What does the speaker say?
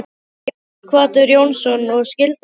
Sighvatur Jónsson: Og skildir þú hana?